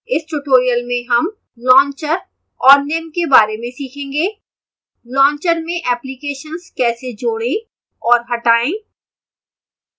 इस tutorial में हम launcher और निम्न के बारे में सीखेंगेः launcher में एप्लिकेशन्स कैसे जोड़ें और हटाएं